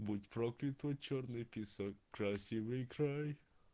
будь проклят твой чёрный песок красивый край